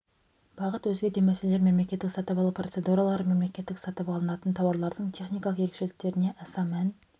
бағыт өзге де мәселелер мемлекеттік сатып алу процедуралары мемлекеттік сатып алынатын тауарлардың техникалық ерекшеліктеріне аса мән